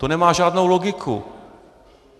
To nemá žádnou logiku.